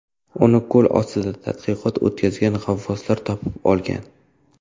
Uni ko‘l ostida tadqiqot o‘tkazgan g‘avvoslar topib olgan.